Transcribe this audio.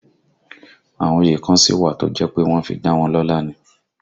Àwọn òye kan sí wà tí ó jẹ́ pé wọ́n fi dá wọn lọ́la ni